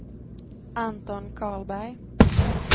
Anton Karlberg